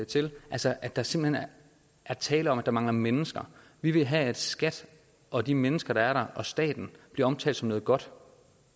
til altså at der simpelt hen er tale om at der mangler mennesker vi vil have at skat og de mennesker der er der og i staten bliver omtalt som noget godt